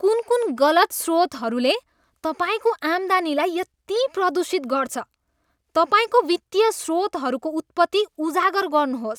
कुन कुन गलत स्रोतहरूले तपाईँको आम्दानीलाई यति प्रदूषित गर्छ? तपाईँको वित्तीय स्रोतहरूको उत्पत्ति उजागर गर्नुहोस्।